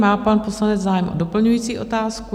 Má pan poslanec zájem o doplňující otázku?